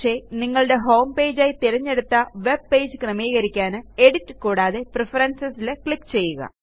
പക്ഷെ നിങ്ങളുടെ ഹോംപേജ് ആയി തിരഞ്ഞെടുത്ത വെബ്പേജ് ക്രമീകരിക്കാൻ എഡിറ്റ് കൂടാതെ Preferencesൽ ക്ലിക്ക് ചെയ്യുക